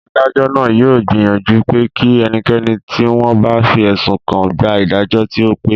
Adájọ́ náà yóò gbìyànjú pé kí ẹnikẹ́ni tí wọ́n bá fi ẹ̀sùn kàn gba ìdájọ́ tí ó pé